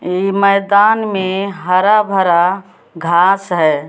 मैदान में हरा भरा घास है।